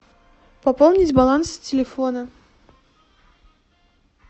пополнить баланс телефона